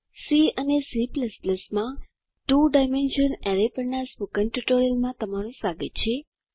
C અને C માં 2 dimensional array પરના સ્પોકન ટ્યુટોરીયલમાં તમારું સ્વાગત છે